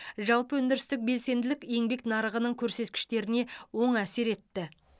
жалпы өндірістік белсенділік еңбек нарығының көрсеткіштеріне оң әсер етті